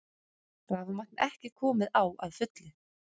Rafmagn ekki komið á að fullu